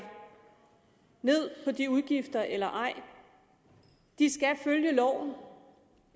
ned på de udgifter eller ej de skal følge loven